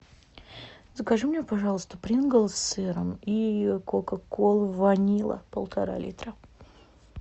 закажи мне пожалуйста принглс с сыром и кока колу ванила полтора литра